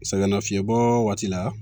Sɛgɛnnafiɲɛbɔ waati la